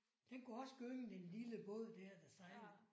Den kunne også gynge den lille båd der der sejlede